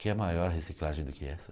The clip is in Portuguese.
Quer maior reciclagem do que essa?